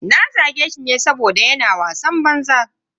Na zage shi ne saboda yana wasan banza.